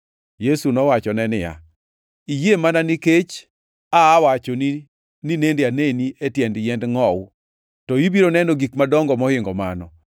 Yesu nowachone niya, “Iyie mana nikech aa wachoni ni nende aneni e tie yiend ngʼowu. To ibiro neno gik madongo mohingo mano.”